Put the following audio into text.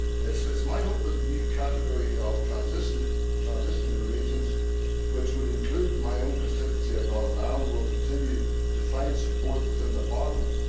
It is my hope that a new category of transition regions, which would include my own constituency of Northern Ireland, will continue to find support within Parliament.